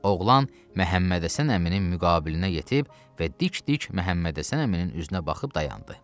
Oğlan Məhəmməd Həsən əminin müqabilinə yetib və dik-dik Məhəmməd Həsən əminin üzünə baxıb dayandı.